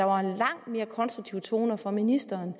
var langt mere konstruktive toner fra ministeren